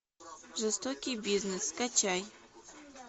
жестокий бизнес скачай